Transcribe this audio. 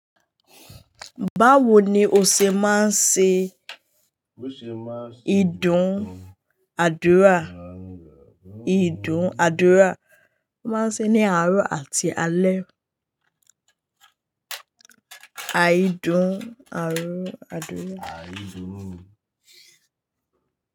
Báwo ni o ṣe máa ń ṣe ìdún àdúrà? Ìdún àdúrà máa ń ṣe ní àárọ̀ àti alé. Àìdún àárọ̀ àdúrà.